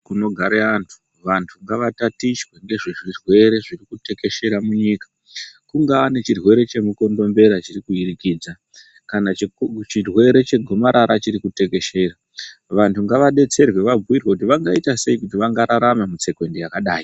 Kuno gare vantu vantu ngava tatichwe ngezve zvirwere zviri kutekeshera munyika kungaa nechirwere che mukondombera chiri ku wirikidza kana chirwere che gomarara chiriku tekeshera vantu ngava detserwe vabhuyirwe kuti vangaita sei kuti vanga rarame mu tsekwende yakadai.